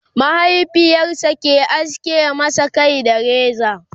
mahaifiyarsa ke aske masa Kai da reza